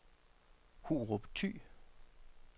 Hurup Thy